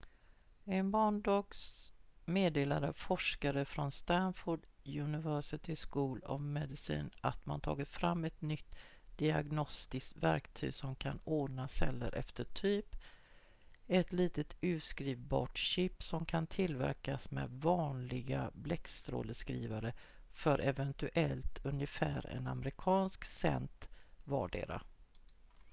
i måndags meddelade forskare från stanford university school of medicine att man tagit fram ett nytt diagnostiskt verktyg som kan ordna celler efter typ ett litet utskrivbart chip som kan tillverkas med vanliga bläckstråleskrivare för eventuellt ungefär en amerikansk cent vardera